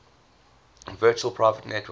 virtual private network